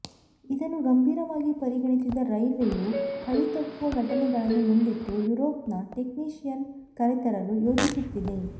ಇದನ್ನು ಗಂಭೀರವಾಗಿ ಪರಿಗಣಿಸಿದ ರೈಲ್ವೆಯು ಹಳಿ ತಪ್ಪುವ ಘಟನೆಗಳನ್ನು ಮುಂದಿಟ್ಟು ಯುರೋಪ್ನ ಟೆಕ್ನಿಶಿಯನ್ ಕರೆತರಲು ಯೋಚಿಸುತ್ತಿದೆ